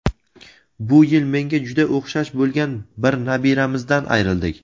bu yil menga juda o‘xshash bo‘lgan bir nabiramizdan ayrildik.